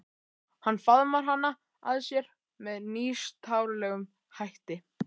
Hann faðmar hana að sér með nýstárlegum hætti.